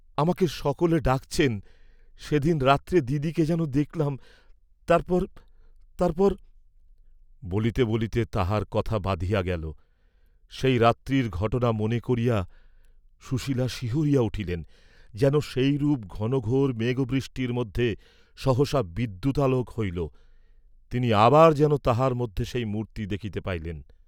'আমাকে সকলে ডাকছেন, সে দিন রাত্রে দিদিকে যেন দেখলাম, তারপর, তারপর,' বলিতে বলিতে তাঁহার কথা বাধিয়া গেল, সেই রাত্রির ঘটনা মনে করিয়া সুশীলা শিহরিয়া উঠিলেন, যেন সেইরূপ ঘনঘাের মেঘবৃষ্টির মধ্যে সহসা বিদ্যুতালােক হইল, তিনি আবার যেন তাহার মধ্যে সেই মূর্ত্তি দেখিতে পাইলেন।